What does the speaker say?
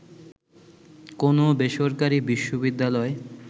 কোনও বেসরকারি বিশ্ববিদ্যালয়